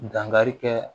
Dankari kɛ